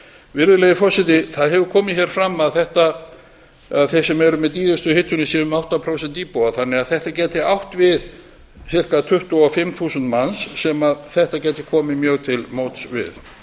virðulegi forseti það hefur komið hér fram að þeir sem dýrustu hitunina séu um átta prósent íbúa þannig að þetta gæti átt við sára tuttugu og fimm þúsund manns sem þetta gæti komið mjög til móts við